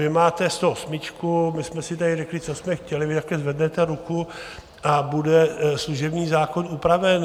Vy máte 108, my jsme si tady řekli, co jsme chtěli, vy takhle zvednete ruku a bude služební zákon upraven.